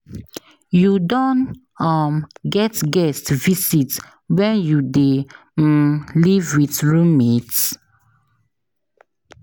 You don um get guest visit when you dey um live with roommate?